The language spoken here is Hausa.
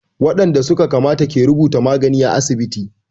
Waɗanda su ka kamata ke rubuta magani à asibiti.